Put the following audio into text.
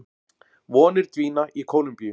Vonir dvína í Kólumbíu